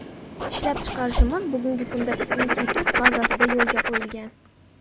Ishlab chiqarishimiz bugungi kunda institut bazasida yo‘lga qo‘yilgan.